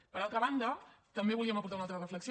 per altra banda també volíem aportar una altra reflexió